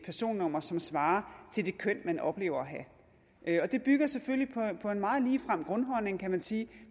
personnummer som svarer til det køn man oplever at have det bygger selvfølgelig på en meget ligefrem grundholdning kan man sige